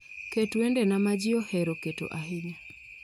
Ket wendena maji ohero keto ahinya